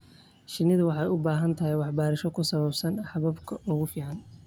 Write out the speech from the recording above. Shinnidu waxay u baahan tahay waxbarasho ku saabsan hababka ugu fiican.